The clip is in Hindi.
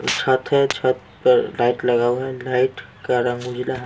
छत है छत पर लाइट लगाऊं लाइट का रंग उजला है।--